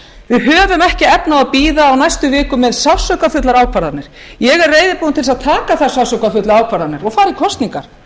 við höfum ekki efni á að bíða á næstu vikum með sársaukafullar ákvarðanir ég er reiðubúin til að taka þær sársaukafullu ákvarðanir og fara í kosningar